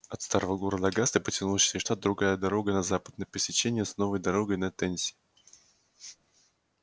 от старого города огасты потянулась через штат другая дорога на запад на пересечение с новой дорогой на теннесси